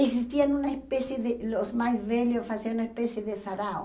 Existiam uma espécie de... os mais velhos faziam uma espécie de sarau.